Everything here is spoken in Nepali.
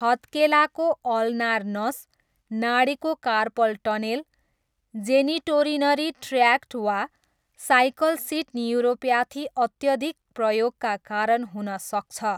हत्केलाको अल्नार नस, नाडीको कार्पल टनेल, जेनिटोरिनरी ट्र्याक्ट वा साइकल सिट न्युरोप्याथी अत्यधिक प्रयोगका कारण हुन सक्छ।